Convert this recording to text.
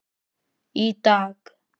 Í dag.